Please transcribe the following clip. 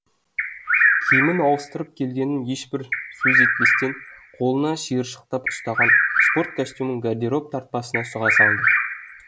киімін ауыстырып келгенін ешбір сөз етпестен қолына шиыршықтап ұстаған спорт костюмін гардероб тартпасына сұға салды